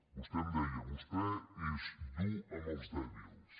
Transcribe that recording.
vostè em deia vostè és dur amb els dèbils